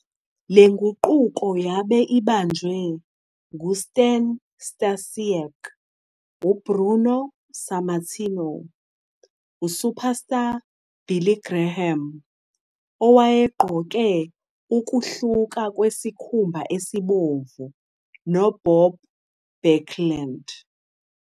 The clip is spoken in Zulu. Le nguqulo yabe ibanjwe ngu- Stan Stasiak, u-Bruno Sammartino, u- Superstar Billy Graham - owayegqoke ukuhluka kwesikhumba esibomvu - no- Bob Backlund.